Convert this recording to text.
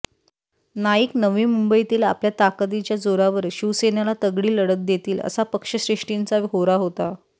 नाईक नवी मुंबईतील आपल्या ताकदीच्या जोरावर शिवसेनेला तगडी लढत देतील असा पक्षश्रेष्ठींचा होरा होता